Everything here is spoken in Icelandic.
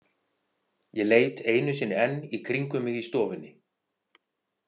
Ég leit einu sinni enn í kringum mig í stofunni.